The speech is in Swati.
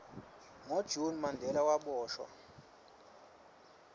ngo june mandela waboshwa